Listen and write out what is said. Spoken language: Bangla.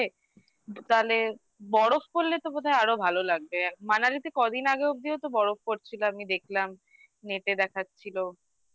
তাহলে বরফ পড়লে তো বোধহয় আরো ভালো লাগবে আর Manali তে কদিন আগে অব্দি হয়তো বরফ পড়ছিল আমি দেখলাম net এ দেখাচ্ছিল